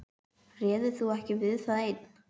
Réðir þú ekki við það einn?